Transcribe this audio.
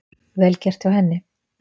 Vel gert hjá henni